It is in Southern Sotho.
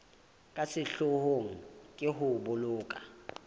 ka sehloohong ke ho boloka